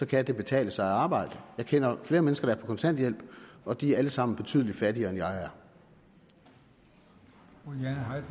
kan det betale sig at arbejde jeg kender flere mennesker der er på kontanthjælp og de er alle sammen betydelig fattigere end